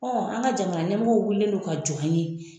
an ka jamana nɛmɔgɔw wililen don ka jɔ an ye.